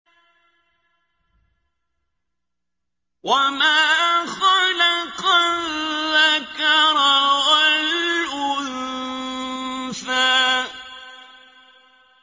وَمَا خَلَقَ الذَّكَرَ وَالْأُنثَىٰ